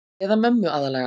Eða mömmu aðallega.